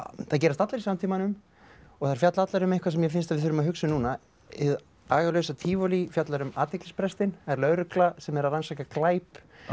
þær gerast allar í samtímanum og þær fjalla allar um eitthvað sem mér finnst að við þurfum að hugsa um núna hið agalausa tívolí fjallar um athyglisbrestinn er lögregla sem er að rannsaka glæp